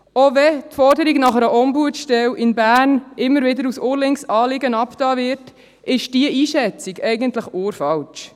Auch wenn die Forderung nach einer Ombudsstelle im Kanton Bern immer wieder als ur-linkes Anliegen abgetan wird, ist diese Einschätzung eigentlich ur-falsch.